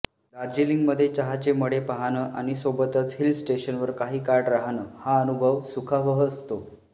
दार्जलिंगमध्ये चहाचे मळे पाहणं आणि सोबतच हिल स्टेशनवर काही काळ राहणं हा अनुभव सुखावह असतो